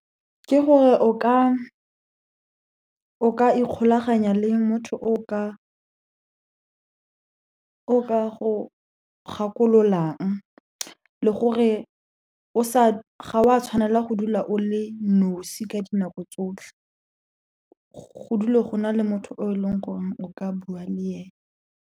Ke gore o ka ikgolaganya le motho o ka go gakololang, le gore ga wa tshwanela go dula o le nosi ka dinako tsotlhe. Go dule go na le motho o e leng gore o ka bua le ene.